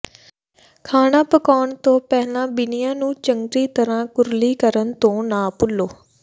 ਖਾਣਾ ਪਕਾਉਣ ਤੋਂ ਪਹਿਲਾਂ ਬੀਨਿਆਂ ਨੂੰ ਚੰਗੀ ਤਰਾਂ ਕੁਰਲੀ ਕਰਨ ਤੋਂ ਨਾ ਭੁੱਲੋ